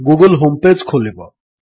Google home page ଖୋଲିବ